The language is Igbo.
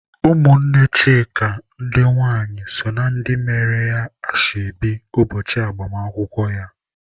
Ụmụnne Chika ndị nwai so na ndị mere ya ashebi ụbọchị agbamakwụkwọ ya..